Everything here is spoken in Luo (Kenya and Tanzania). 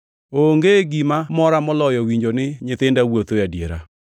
Onge gima mora moloyo winjo ni nyithinda wuotho e adiera.